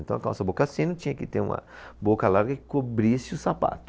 Então, a calça boca sino tinha que ter uma boca larga que cobrisse o sapato.